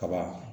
Kaba